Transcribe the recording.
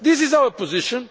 This is our position.